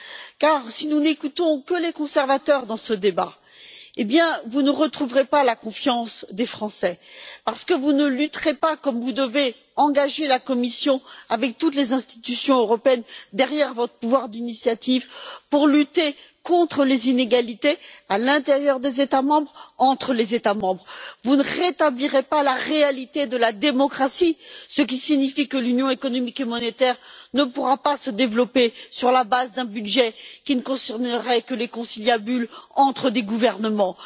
En effet, si nous n'écoutons que les conservateurs, vous ne retrouverez pas la confiance des Français, parce que vous ne lutterez pas comme vous le devez, en engageant la Commission, avec toutes les institutions européennes derrière votre pouvoir d'initiative, pour lutter contre les inégalités à l'intérieur des États membres et entre les États membres. Vous ne rétablirez pas la réalité de la démocratie, ce qui signifie que l'Union économique et monétaire ne pourra pas se développer sur la base d'un budget qui ne concernerait que les conciliabules entre des gouvernements.